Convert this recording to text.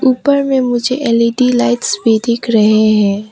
ऊपर पर मुझे एल_इ_डी लाइट्स भी दिख रहे हैं।